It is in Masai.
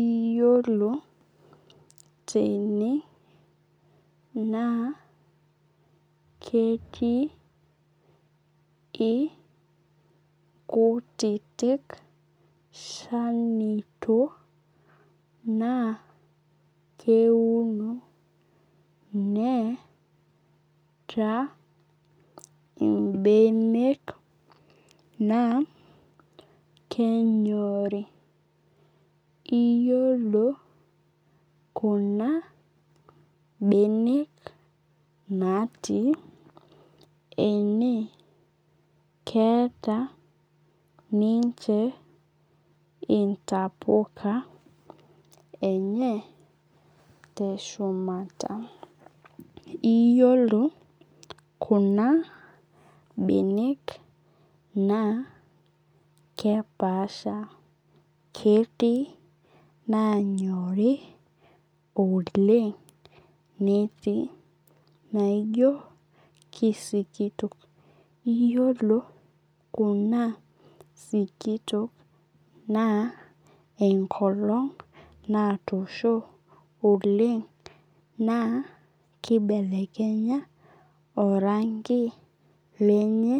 Iyiolo tene naa ketii iinkutitik shanito na keuno neeta ibenek naa kenyorii. Iyiolo kuna benek natii ene keeta ninche intapuka enye teshumata. Iyiolo kuna benek naa kepasha ketii nanyorii oleng netii naijo kisikitok. Iyiolo kuna silitok naa enkolong' natoshi oleng' naa kibelekenya oranki lenye